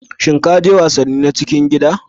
Shin ka je wasanni na cikin gida?